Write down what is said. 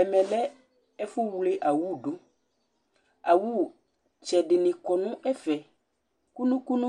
Ɛmɛ lɛ ɛfʋwle awu dʋ Awutsɛ dɩnɩ kɔ nʋ ɛfɛ kunu kunu,